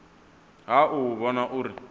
ha u u vhona uri